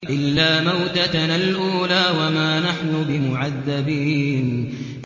إِلَّا مَوْتَتَنَا الْأُولَىٰ وَمَا نَحْنُ بِمُعَذَّبِينَ